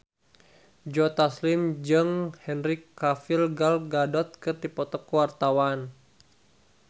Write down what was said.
Joe Taslim jeung Henry Cavill Gal Gadot keur dipoto ku wartawan